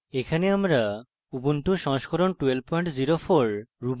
এখানে আমরা ubuntu সংস্করণ 1204